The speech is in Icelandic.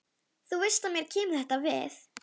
Þú veist að mér kemur þetta við.